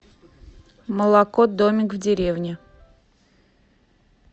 молоко домик в деревне